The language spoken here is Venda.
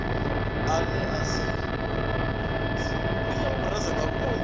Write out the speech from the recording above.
ane a si a tshiofisi